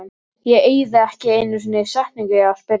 Ég eyði ekki einu sinni setningu í að spyrja